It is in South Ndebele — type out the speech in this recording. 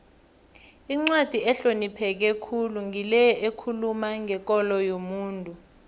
incwadi ehlonipheke khulu ngile ekhuluma ngekolo yomuntu